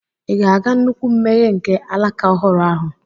Ị̀ ga-aga nnukwu mmeghe nke alaka ọhụrụ ahụ?